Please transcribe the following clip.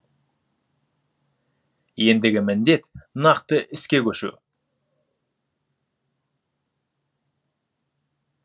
ендігі міндет нақты іске көшу